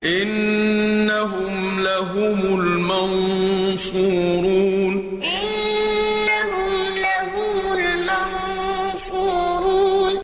إِنَّهُمْ لَهُمُ الْمَنصُورُونَ إِنَّهُمْ لَهُمُ الْمَنصُورُونَ